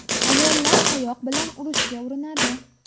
Ayollar tayoq bilan urishga urinadi.